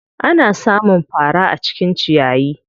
Ana sa mun fara a cikin ciyayi.